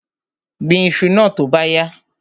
Gbin iṣu náà tó bá yá!